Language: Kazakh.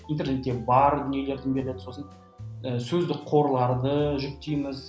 интернетте бар дүниелерді беріледі сосын ы сөздік қорларды жүктейміз